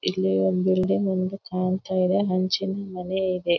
ಇಲ್ಲಿ ಒಂದು ಎರಡು ಹಂಚಿನ ಮನೆ ಇದೆ.